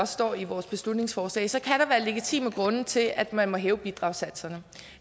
står i vores beslutningsforslag så kan der legitime grunde til at man må hæve bidragssatserne